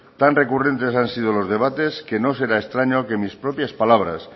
tan recurrentes han sido los debates que no será extraño que mis propias palabras